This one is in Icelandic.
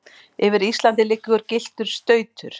yfir Íslandi liggur gylltur stautur.